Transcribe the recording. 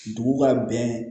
Dugu ka bɛn